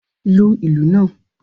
Lu ìlù náà!